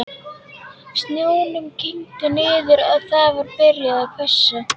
Snjónum kyngdi niður og það var byrjað að hvessa.